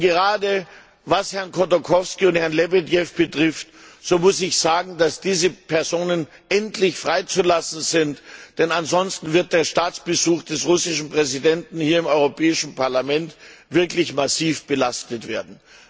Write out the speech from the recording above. Gerade was Herrn Chodorkowski und Herrn Lebedev jetzt betrifft, muss ich sagen, dass diese Personen endlich freizulassen sind, denn ansonsten wird der Staatsbesuch des russischen Präsidenten hier im Europäischen Parlament wirklich massiv belastet werden.